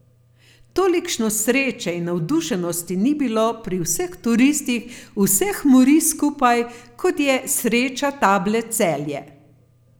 Tolikšne sreče in navdušenosti ni bilo pri vseh turistih vseh morij skupaj, kot je sreča table Celje.